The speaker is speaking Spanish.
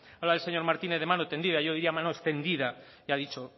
habla el señor martínez de mano tendida yo diría mano extendida ya ha dicho